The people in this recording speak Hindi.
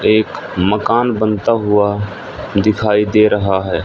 एक मकान बनता हुआ दिखाई दे रहा है।